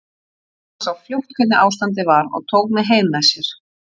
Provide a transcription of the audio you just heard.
Hann sá fljótt hvernig ástandið var og tók mig heim með sér.